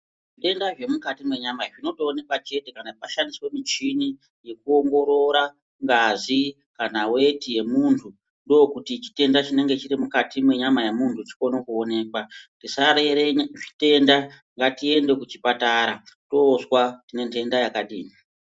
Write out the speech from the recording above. Zvitenda zvemukati mwenyama zvinotoonekwa chete kana pashandiswe muchini yekuongorora ngazi kana weti yemuntu ndokuti chitenda chinenge chiri mukati mwenyama yemuntu chikone kuonekwa. Tisarere zvitenda ngatiende kuchipatara toozwa tine ntenda yakadini..